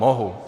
Mohu.